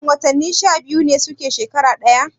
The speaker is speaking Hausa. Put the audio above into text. Shin watanni sha biyu ne suke shekara ɗaya?